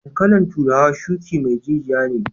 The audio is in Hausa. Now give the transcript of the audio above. Dankalin turawa shuki mai jijiya ne.